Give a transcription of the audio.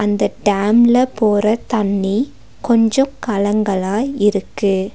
இந்த டேம்ல போற தண்ணி கொஞ்சோ கலங்கலா இருக்கு.